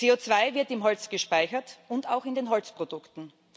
CO2 wird im Holz gespeichert und auch in den Holzprodukten.